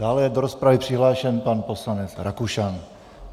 Dále je do rozpravy přihlášen pan poslanec Rakušan.